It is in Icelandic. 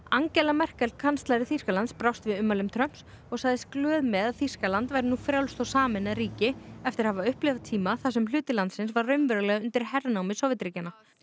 Angela Merkel kanslari Þýskalands brást við ummælum Trumps og sagðist glöð með að Þýskaland væri nú frjálst og sameinað ríki eftir að hafa upplifað tíma þar sem hluti landsins var raunverulega undir hernámi Sovétríkjanna